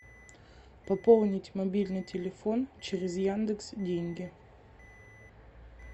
пополнить мобильный телефон через яндекс деньги